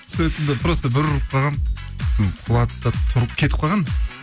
сөйттім де просто бір ұрып қалғанмын құлады да тұрып кетіп қалған